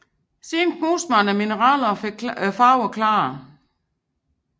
Siden knuste man mineraler og fik klarere farver